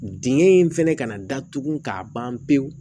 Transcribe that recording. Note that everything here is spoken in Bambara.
Dingɛ in fɛnɛ kana datugu k'a ban pewu